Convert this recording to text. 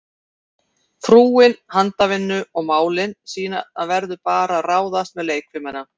Frúin handavinnu og málin, síðan verður bara að ráðast með leikfimina.